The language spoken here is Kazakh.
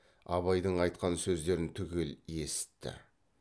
абайдың айтқан сөздерін түгел есітті